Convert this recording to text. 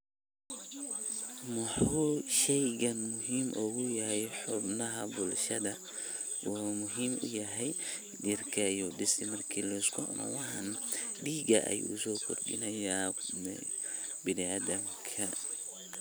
Maxuu sheeygan muhim ugu yahay xubnaha bulshada, oo muhim u yahay jeerka ayu disi marki xubnaha deekah ayu so kordinayaa biniaadamka.